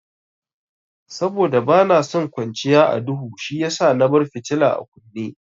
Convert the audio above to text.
Saboda bana son kwanciya a duhu shiyasa na bar fitila a kunne.